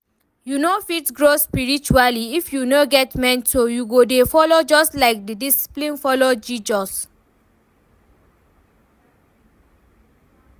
You no fit grow spiritually if you no get mentor you go dey follow just like the disciples follow Jesus